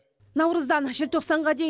наурыздан желтоқсанға дейін